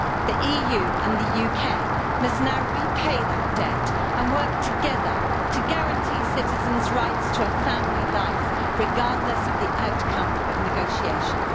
The EU and the UK must now repay that debt and work together to guarantee citizens' rights to a family life, regardless of the outcome of negotiations.